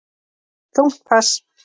Þungt pass.